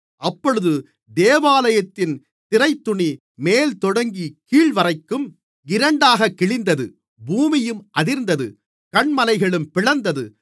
அப்பொழுது தேவாலயத்தின் திரைத்துணி மேல்தொடங்கிக் கீழ்வரைக்கும் இரண்டாகக் கிழிந்தது பூமியும் அதிர்ந்தது கன்மலைகளும் பிளந்தது